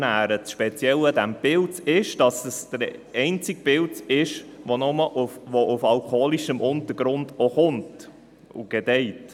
Das Spezielle an diesem Pilz ist, dass er der einzige Pilz ist, der auf alkoholischem Untergrund wächst und gedeiht.